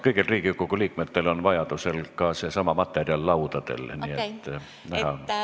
Kõigil Riigikogu liikmetel on seesama materjal ka laual, nii et on näha.